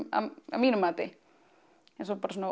að mínu mati eins og bara svona